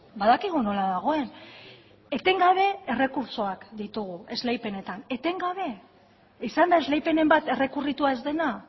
badakigu nola dagoen etengabe errekurtsoak ditugu esleipenetan etengabe izan da esleipenen bat errekurritua ez dena